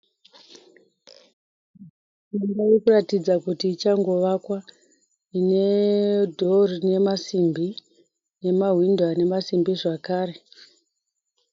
Imba irikuratidza kuti ichangovakwa. Ine dhoo rinemasimbi nemahwindo anemasimbi zvakare.